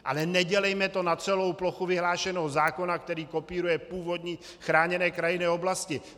Ale nedělejme to na celou plochu vyhlášenou zákona, který kopíruje původní chráněné krajinné oblasti.